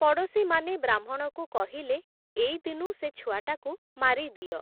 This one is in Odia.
ପଡ଼ୋଶୀମାନେ ବ୍ରାହ୍ମଣକୁ କହିଲେ, ଏଇଦିନୁ ସେ ଛୁଆଟାକୁ ମାରିଦିଅ ।